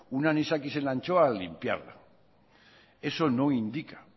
un anisakis en la anchoa al limpiarla eso no indica